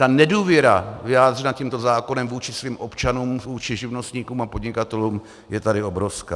Ta nedůvěra vyjádřená tímto zákonem vůči svým občanům, vůči živnostníkům a podnikatelům je tady obrovská.